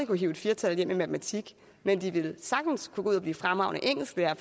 kunne hive et fire tal hjem i matematik men de ville sagtens kunne gå ud og blive fremragende engelsklærere